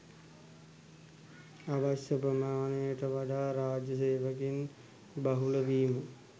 අවශ්‍ය ප්‍රමාණයට වඩා රාජ්‍ය සේවකයින් බහුල වීම